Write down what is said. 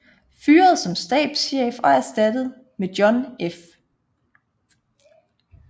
Fyret som stabschef og erstattet med John F